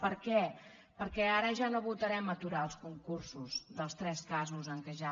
per què perquè ara ja no votarem aturar els concursos dels tres casos en què ja